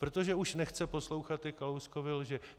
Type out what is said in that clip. Protože už nechce poslouchat ty Kalouskovy lži.